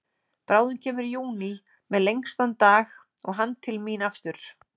Bráðum kemur júní með lengstan dag og hann til mín aftur.